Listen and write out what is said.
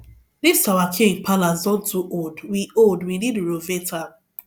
this our king palace don too old we old we need renovate am